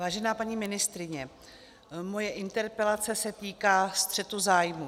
Vážená paní ministryně, moje interpelace se týká střetu zájmů.